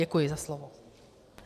Děkuji za slovo.